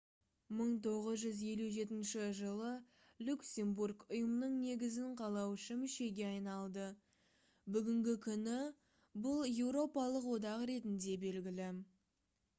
1957 жылы люксембург ұйымның негізін қалаушы мүшеге айналды бүгінгі күні бұл еуропалық одақ ретінде белгілі